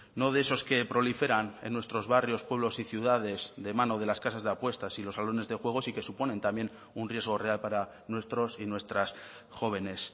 no de esos que proliferan en nuestros barrios pueblos y ciudades de mano de las casas de apuestas y los salones de juegos y que suponen también un riesgo real para nuestros y nuestras jóvenes